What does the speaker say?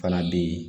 Fana bɛ yen